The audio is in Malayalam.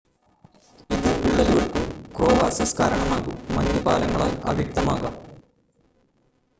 ഇത് വിള്ളലുകൾക്കും ക്രേവാസസ് കാരണമാകും മഞ്ഞ് പാലങ്ങളാൽ അവ്യക്തമാകാം